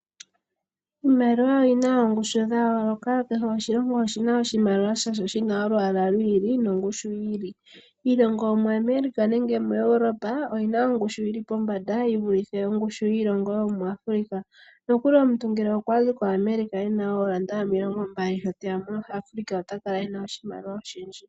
Iimaliwa oyi na oongushu dha yoloka kehe oshilongo oshina oshimaliwa shasho shina olwaala lwiili nongushu yiili, iilongo yomoAmerica nenge yomu Europa oyi na ongushu yi li pombanda yi vulithe ongushu yiilongo yomoAfrica, nokuli omuntu ngele okwa zi koAmerica ena ooranda omilongo mbali, shoteya mo Africa ota kala ena oshimaliwa oshindji.